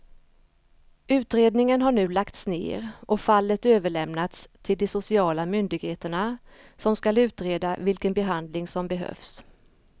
Utredningen har nu lagts ner och fallet överlämnats till de sociala myndigheterna som ska utreda vilken behandling som behövs.